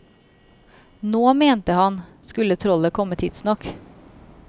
Nå mente han, skulle trollet komme tidsnok.